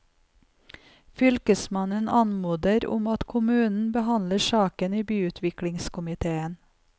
Fylkesmannen anmoder om at kommunen behandler saken i byutviklingskomiteen.